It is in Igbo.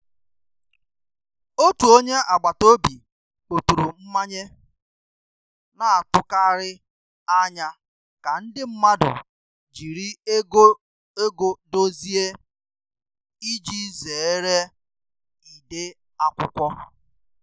Otu onye agbata obi kpọturu mmanye, na-atụkarị anya ka ndị mmadụ jiri ego dozie iji zere ide akwụkwọ